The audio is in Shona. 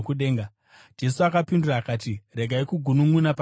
Jesu akapindura akati, “Regai kugununʼuna pakati penyu.